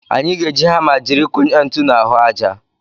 Anyị ga-eji hama jiri kụnye ntu n'ahụ aja.